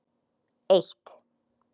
eitt